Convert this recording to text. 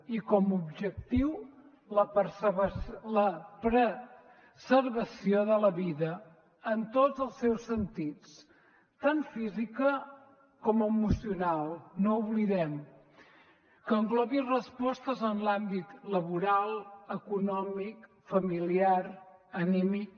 i com a objectiu la preservació de la vida en tots els seus sentits tant física com emocional no ho oblidem que englobi respostes en l’àmbit laboral econòmic familiar anímic